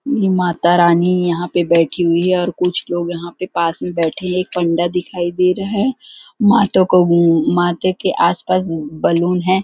ये माता रानी यहां पे बैठी हुई है और कुछ लोग यहां पे पास में बैठे हैं एक फंडा दिखाई दे रहा है माता को माते के आसपास बलून है।